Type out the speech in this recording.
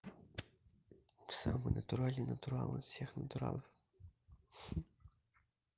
самый натуральный натурал из всех натуралов